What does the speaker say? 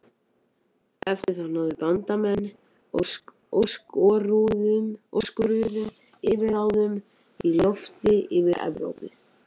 Eftir það náðu Bandamenn óskoruðum yfirráðum í lofti yfir Evrópu.